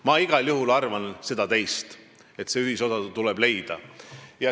Mina arvan igal juhul, et tuleb leida ühisosa.